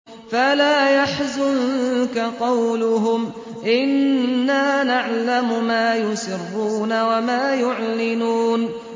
فَلَا يَحْزُنكَ قَوْلُهُمْ ۘ إِنَّا نَعْلَمُ مَا يُسِرُّونَ وَمَا يُعْلِنُونَ